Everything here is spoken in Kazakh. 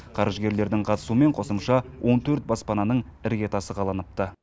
қаржыгерлердің қатысуымен қосымша он төрт баспананың іргетасы қаланыпты